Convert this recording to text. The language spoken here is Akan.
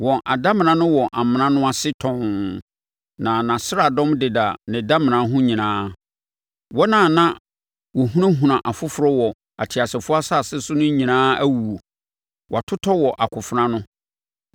Wɔn adamena no wɔ amena no ase tɔnn na nʼasraadɔm deda ne damena ho nyinaa. Wɔn a na wɔhunahuna afoforɔ wɔ ateasefoɔ asase so no nyinaa awuwu, wɔatotɔ wɔ akofena ano.